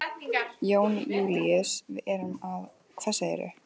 Jón Júlíus, við erum að. hvað segirðu?